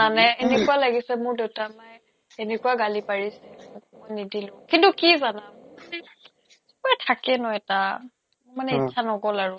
জানানে এনেকুৱা লাগিছে মোৰ দেউতা মায়ে এনেকুৱা গালি পাৰিছে মই নিদিলো কিন্তু কি জানা মোৰ মানে কিবা থাকে ন এটা মানে অ ইচ্ছা নগ'ল আৰু